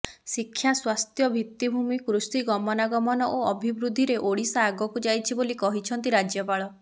ଶିକ୍ଷା ସ୍ୱାସ୍ଥ୍ୟ ଭିତିଭୂମି କୃଷି ଗମନାଗମନ ଓ ଅଭିବୃଦ୍ଧିରେ ଓଡିଶା ଆଗକୁ ଯାଇଛି ବୋଲି କହିଛନ୍ତି ରାଜ୍ୟପାଳ